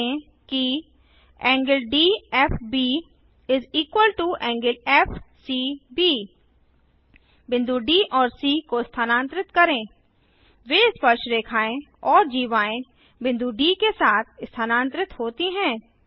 ध्यान दें कि ∠DFB ∠FCB बिंदुD और सी को स्थानांतरित करें वे स्पर्शरेखाएँ और जीवाएँ बिंदु डी के साथ स्थानांतरित होती हैं